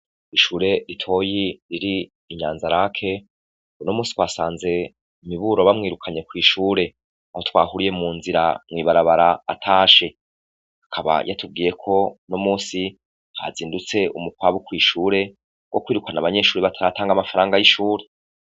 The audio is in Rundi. Ishure itoyi riri inyanza lake o no musi twasanze miburo bamwirukanye kw'ishure aho twahuriye mu nzira mwibarabara atashe akaba yatubwiyeko no musi hazindutse umukwabu kw'ishure wo kwirukana abanyeshuri batatanga amafaranga y'ishure.